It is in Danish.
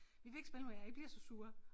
Vi vil ikke spille med jer I bliver så sure